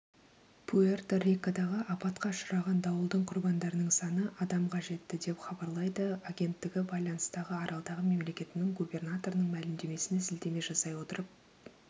пуэрто-рикодағы апатқа ұшыраған дауылдың құрбандарының саны адамға жетті деп хабарлайды агенттігі байланыстағы аралдағы мемлекетінің губернаторының мәлімдемесіне сілтеме жасай отырып